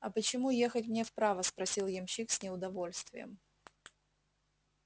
а почему ехать мне вправо спросил ямщик с неудовольствием